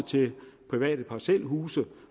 private parcelhuse